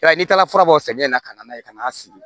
Ya n'i taara fura bɔ samiya in na ka na n'a ye ka n'a sigi